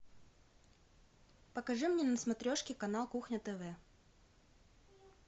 покажи мне на смотрешке канал кухня тв